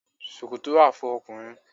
Ṣòkòtò wà fún ọkùnrin.